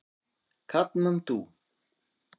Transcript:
Katmandú